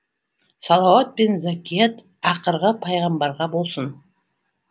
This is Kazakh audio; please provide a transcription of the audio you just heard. салауат пен закият ақырғы пайғамбарға болсын